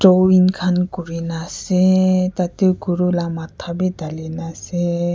drawing khan kurina ase tatey guru laga maths vi dhalina ase.